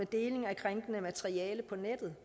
deling af krænkende materiale på nettet